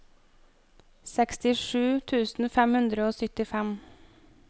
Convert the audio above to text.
sekstisju tusen fem hundre og syttifem